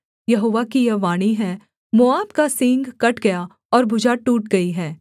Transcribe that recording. यहोवा की यह वाणी है मोआब का सींग कट गया और भुजा टूट गई है